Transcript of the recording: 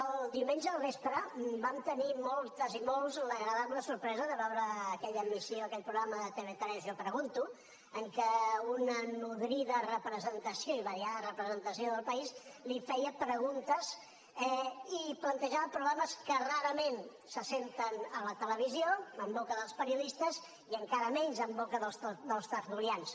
el diumenge al vespre vam tenir moltes i molts l’agradable sorpresa de veure aquella emissió aquell programa de tv3 jo pregunto en què una nodrida representació i variada representació del país li feia preguntes i plantejava problemes que rarament se senten a la televisió en boca dels periodistes i encara menys en boca dels tertulians